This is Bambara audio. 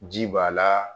Ji b'a la